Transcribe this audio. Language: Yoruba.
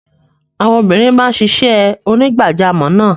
Àwọn obìnrin máa ń ṣiṣẹ́ onígbàjamọ̀ náà.